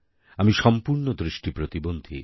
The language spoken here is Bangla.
আমি সম্পূর্ণ দৃষ্টি প্রতিবন্ধী